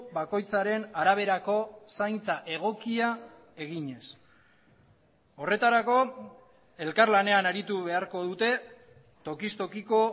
bakoitzaren araberako zaintza egokia eginez horretarako elkarlanean aritu beharko dute tokiz tokiko